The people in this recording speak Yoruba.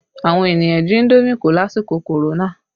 Àwọn ènìyàn jí indomi kó lásìkò korona